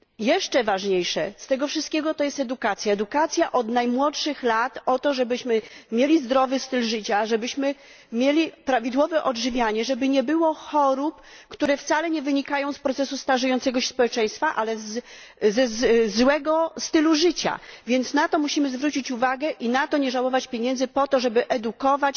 Jeszcze ważniejsza od tego jest edukacja, edukacja od najmłodszych lat, żebyśmy mieli zdrowy styl życia, się prawidłowo odżywiali, żeby nie było chorób, które wcale nie wynikają z procesu starzenia się społeczeństwa, ale ze złego stylu życia. Więc na to musimy zwrócić uwagę i nie żałować pieniędzy na to, żeby edukować